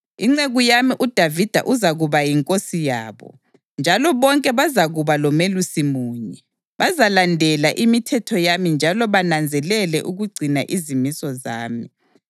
Inceku yami uDavida uzakuba yinkosi yabo, njalo bonke bazakuba lomelusi munye. Bazalandela imithetho yami njalo bananzelele ukugcina izimiso zami.